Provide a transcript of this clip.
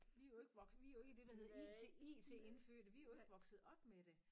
Vi er jo ikke wok vi er jo ikke det der hedder it it-indfødte vi er jo ikke vokset op med det